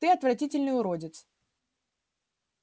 ты отвратительный уродец